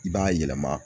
I b'a yɛlɛma